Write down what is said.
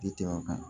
Tɛ tɛmɛ o kan